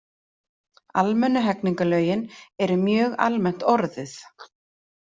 Almennu hegningarlögin eru mjög almennt orðuð.